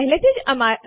CMP આદેશ